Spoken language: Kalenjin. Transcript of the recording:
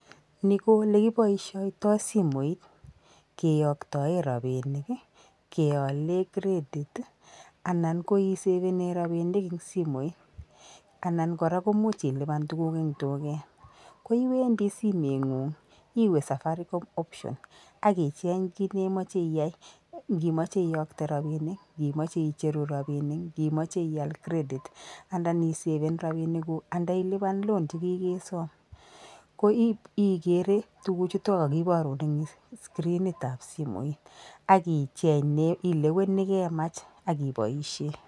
Ni ko ole keboishiotoi simoit, keyaktae rabinik, keale [credit], anan koisavene rabinik eng simoit, anan kora komuch iliban tukuk eng duket. Koiwendi simet ngung, iwe [safaricom] [option] akicheng ki neimache iai , ngi imache iyakte rabinik , ngimache icheru rabinik , ngiimache ial [credit] andaisaven rabinik kuk, andilipan [loan] chekikesom. Ko igere tukuk chutok keborun eng screenit ab simoit ak icheng neileweni kemach akiboishe.